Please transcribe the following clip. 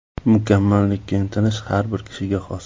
Mukammallikka intilish har bir kishiga xos.